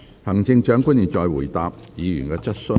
行政長官現在回答議員的質詢。